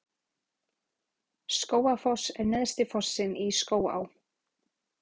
Skógafoss er neðsti fossinn í Skógaá.